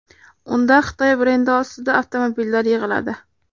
Unda Xitoy brendi ostida avtomobillar yig‘iladi.